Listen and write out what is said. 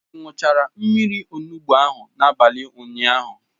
Ị ṅụchara mmiri olugbu ahụ n'abalị ụnyaahụ?